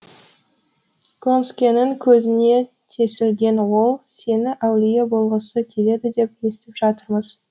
гонскэнің көзіне тесілген ол сені әулие болғысы келеді деп естіп жатырмыз